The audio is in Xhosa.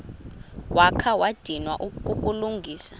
wakha wadinwa kukulungisa